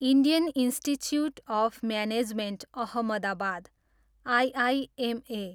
Indian Institute of Management Ahmedabad, IIMA